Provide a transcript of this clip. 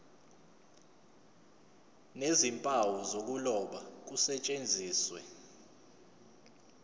nezimpawu zokuloba kusetshenziswe